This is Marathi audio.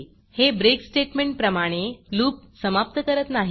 हे breakब्रेक स्टेटमेंटप्रमाणे loopलूप समाप्त करत नाही